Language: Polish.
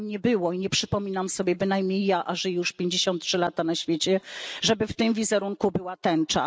Tam nie było i nie przypominam sobie bynajmniej ja a żyję już 53 trzy lata na świecie żeby w tym wizerunku była tęcza.